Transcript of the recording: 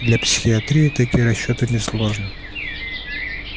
для психоистории такие расчёты несложны